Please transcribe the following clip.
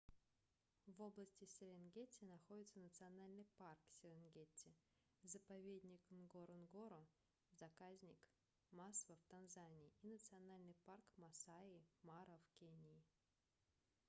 в области серенгети находятся национальный парк серенгети заповедник нгоронгоро заказник масва в танзании и национальный парк маасай мара в кении